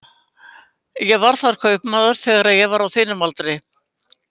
Ég var þar kaupmaður þegar ég var á þínum aldri.